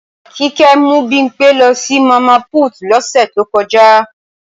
Kíkẹ́ mú Bimpé lọ sí Mama Put lọ́sẹ̀ to kọjá